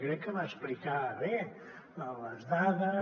crec que va explicar bé les dades